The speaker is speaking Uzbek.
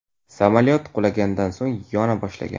Samolyot qulaganidan so‘ng yona boshlagan.